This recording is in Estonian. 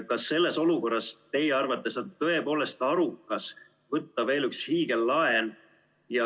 Kas selles olukorras teie arvates on tõepoolest arukas võtta veel üks hiigellaen?